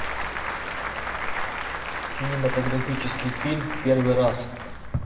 кинематографический фильм в первый раз